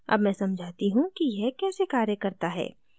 अब मैं समझाती how कि यह कैसे कार्य करता है